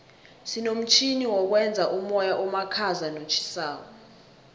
sinomtjhini wokwenza umoya omakhaza notjhisako